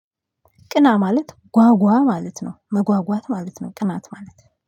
ቅና ማለት ጓጓ ማለት ነው መጓጓት ማለት ነው ቅናት ማለት።